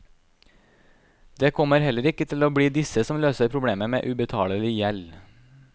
Det kommer heller ikke til å bli disse som løser problemet med ubetalelig gjeld.